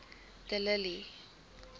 de lille